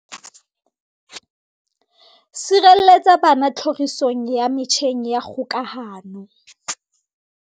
Sireletsa bana tlhorisong ya metjheng ya kgokahano